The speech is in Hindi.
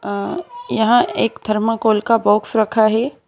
अ यहां एक थर्माकोल का बॉक्स रखा है।